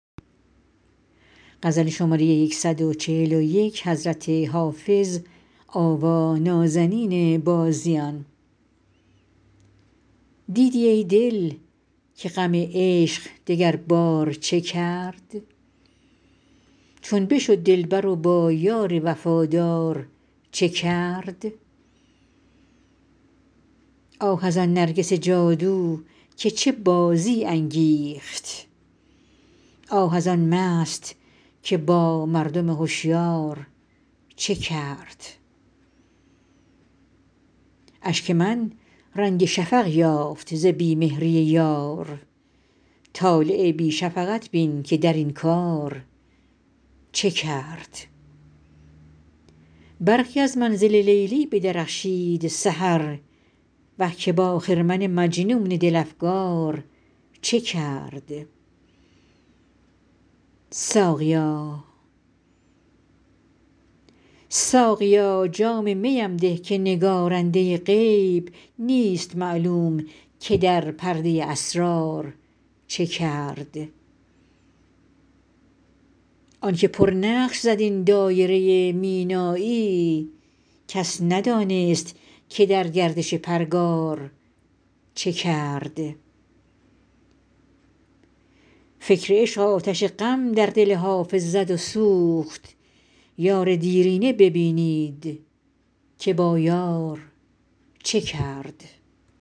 دیدی ای دل که غم عشق دگربار چه کرد چون بشد دلبر و با یار وفادار چه کرد آه از آن نرگس جادو که چه بازی انگیخت آه از آن مست که با مردم هشیار چه کرد اشک من رنگ شفق یافت ز بی مهری یار طالع بی شفقت بین که در این کار چه کرد برقی از منزل لیلی بدرخشید سحر وه که با خرمن مجنون دل افگار چه کرد ساقیا جام می ام ده که نگارنده غیب نیست معلوم که در پرده اسرار چه کرد آن که پرنقش زد این دایره مینایی کس ندانست که در گردش پرگار چه کرد فکر عشق آتش غم در دل حافظ زد و سوخت یار دیرینه ببینید که با یار چه کرد